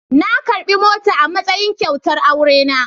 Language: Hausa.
Na karbi mota a matsayin kyautar aurena.